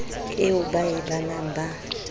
eo ba e balang ba